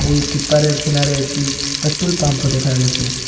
এই কিনারে একটি পেট্রোল পাম্পও দেখা গেছে।